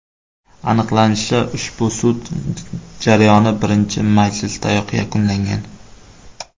Aniqlanishicha, ushbu sud jarayoni birinchi majlisdayoq yakunlangan.